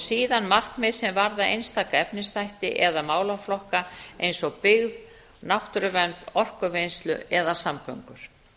síðan markmið sem varða einstaka efnisþætti eða málaflokk eins og byggð náttúruvernd orkuvinnslu eða samgöngur